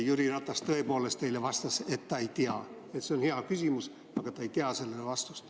Jüri Ratas tõepoolest eile vastas, et ta ei tea – see on hea küsimus, aga ta ei tea sellele vastust.